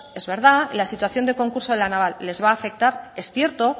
es verdad la situación de concurso en la naval les va a afectar es cierto